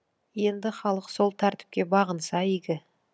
енді халық сол тәртіпке бағынса игі